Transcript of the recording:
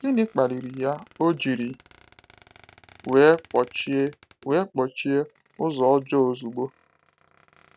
Gịnị kpaliri ya o jiri wee kpọchie wee kpọchie ụzọ ọjọọ ozugbo?